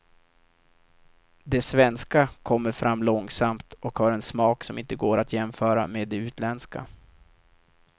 De svenska kommer fram långsamt och har en smak som inte går att jämföra med de utländska.